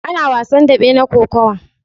Ana wasan daɓe na Kokawa.